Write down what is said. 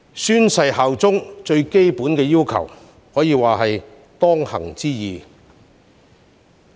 宣誓效忠是最基本的要求，可說是當行之義。